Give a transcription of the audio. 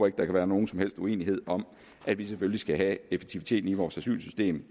at der kan være nogen som helst uenighed om at vi selvfølgelig skal have effektiviteten i vores asylsystem